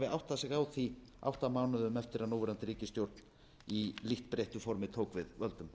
áttað sig á því átta mánuðum eftir að núverandi ríkisstjórn í lítt breyttu formi tók við völdum